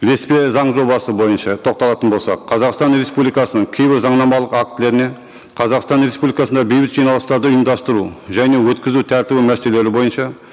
ілеспе заң жобасы бойынша тоқталатын болсақ қазақстан республикасының кейбір заңнамалық актілеріне қазақстан республикасында бейбіт жиналыстарды ұйымдастыру және өткізу тәртібі мәселелері бойынша